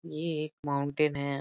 ये एक माउंटेन है।